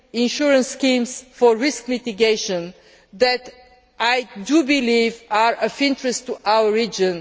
have invented insurance schemes for risk mitigation that I believe are of interest to